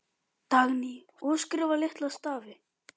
Skip koma aldrei aftur.